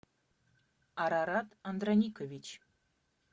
арарат андраникович